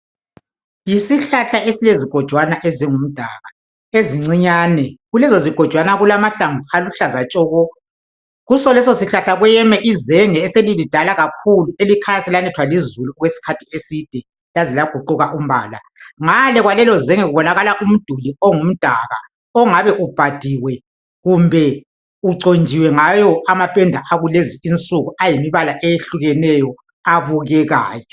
Yisihlahla esiyizigojwana ezingumdaka ezincinyane. Kulezo zigojwana kulamahlamvu aluhlaza tshoko. Kuleso sihlahla kweyeme izenge eselilidala kakhulu elikhanya iselanethwa lizulu okwesikhathi eside laze laguquka umbala. Ngale kwalelo zenge kubonakala umduli omgumdaka ongabe ubhadiwe kumbe uconjiwe ngawo amapenda akulezi insuku ayimibala eyehlukeneyo abukekayo.